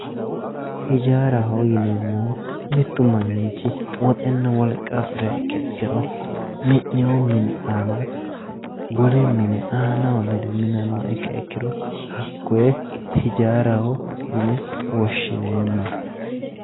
Hijaaraho yineemmohu mitu manchi woxenna wolqa afiriha ikkiha ikkiro mi'nino mini aana wole mine aanaho lede minanoha ikkiha ikkiro hakkoe hijaaraho yinne woshshineemmosi.